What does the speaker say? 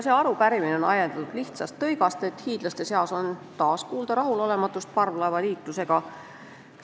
Arupärimine on ajendatud lihtsast tõigast, et hiidlaste seas on taas kuulda rahulolematust parvlaevaliikluse üle.